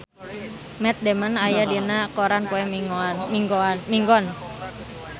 Matt Damon aya dina koran poe Minggon